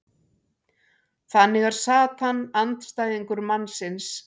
þannig er satan andstæðingur mannsins